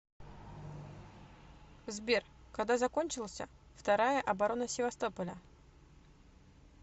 сбер когда закончился вторая оборона севастополя